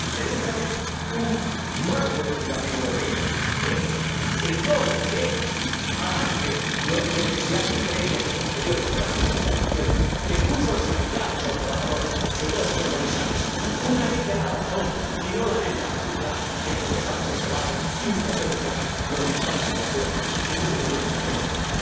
Tenemos que hacer un marco legislativo europeo que englobe, que avance las necesidades previas y posteriores de las reestructuraciones, que escuche a los sindicatos, a los trabajadores y, sobre todo, señor Comisario, una ley de la razón y no la ley de la jungla, que es lo que estamos observando impotentes los diputados europeos y, mucho me temo, usted también.